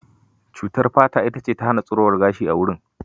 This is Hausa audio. Cutar fata ita ce ta hana tsirowar gashi a wurin.